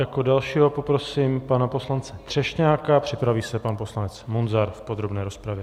Jako dalšího poprosím pana poslance Třešňáka, připraví se pan poslanec Munzar v podrobné rozpravě.